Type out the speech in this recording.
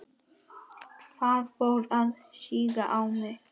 Það fór að síga í mig.